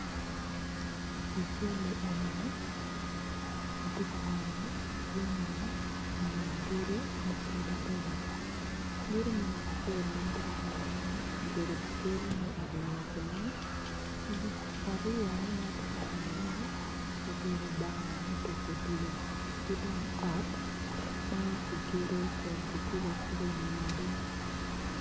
i cali eni ni atye ka neno jami gedo mapadipadi gedo me namba acel obedo gedo pa cilam aryone ma atye ka nenone obedo bar me tuko odilo ki dong ot ma kigedo kun kikubo akuba i wi wadi.